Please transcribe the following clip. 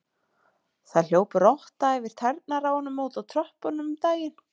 Það hljóp rotta yfir tærnar á honum úti á tröppum um daginn.